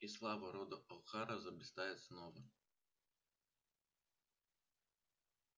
и слава рода охара заблистает снова